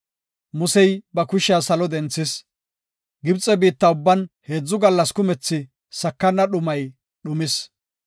Musey ba kushiya salo denthis. Gibxe biitta ubban heedzu gallas kumethi sakana dhumay dhumis.